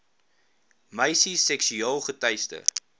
meisies seksueel teister